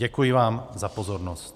Děkuji vám za pozornost.